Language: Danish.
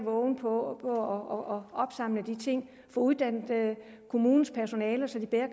årvågne og at få uddannet kommunens personale så de bliver